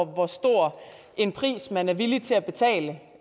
hvor stor en pris man er villig til at betale